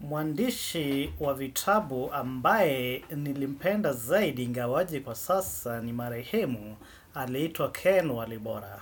Mwandishi wa vitabu ambaye nilimpenda zaidi ingawaje kwa sasa ni Marehemu, alitwa Ken Walibora.